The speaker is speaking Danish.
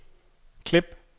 klip